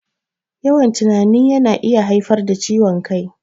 Yawan tunani yana iya haifar da ciwon kai